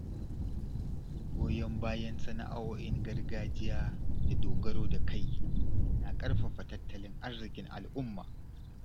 Goyon bayan sana’o’in gargajiya da dogaro da kai na ƙarfafa tattalin arzikin al’umma.